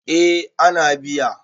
eh ana biya